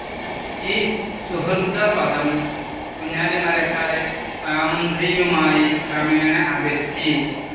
ഈ സുഹൃദപദം കുഞ്ഞാലി മരക്കാരെ സാമന്ത്രിയുമായി ക്രമേണ അകറ്റി.